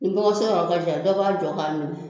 Ni dɔgɔso yɔrɔ ka jan dɔ b'a jɔ k'a minɛ